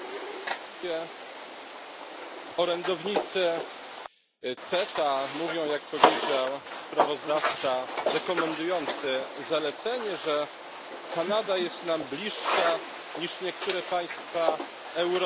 Panie Przewodniczący! Orędownicy CETA mówią, jak powiedział sprawozdawca rekomendujący zalecenie, że Kanada jest nam bliższa niż niektóre państwa Europy.